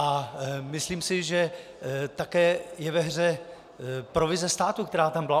A myslím si, že také je ve hře provize státu, která tam byla.